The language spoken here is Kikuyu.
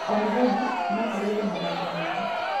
O mũthenya, no tũgerie mathako merũ.